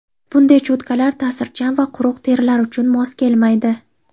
Bunday cho‘tkalar ta’sirchan va quruq terilar uchun mos kelmaydi.